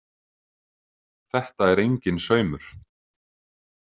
Þetta er enginn saumur.